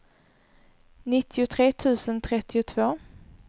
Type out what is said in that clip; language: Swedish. nittiotre tusen trettiotvå